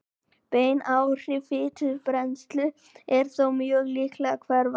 Bein áhrif á fitubrennslu eru þó mjög líklega hverfandi.